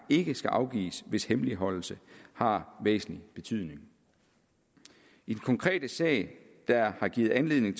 ikke skal afgives hvis hemmeligholdelse har væsentlig betydning i den konkrete sag der har givet anledning